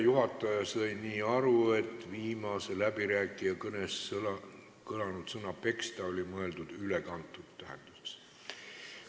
Juhataja sai aru nii, et viimase läbirääkija kõnes kõlanud sõna "peksta" oli mõeldud ülekantud tähenduses.